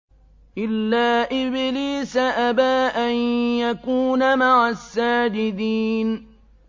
إِلَّا إِبْلِيسَ أَبَىٰ أَن يَكُونَ مَعَ السَّاجِدِينَ